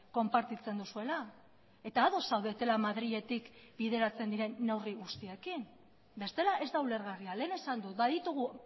konpartitzen duzuela eta ados zaudetela madriletik bideratzen diren neurri guztiekin bestela ez da ulergarria lehen esan dut baditugu